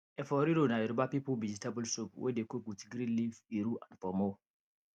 efo riro na yoruba people vegetable soup wey dey cook with green leaf iru and ponmo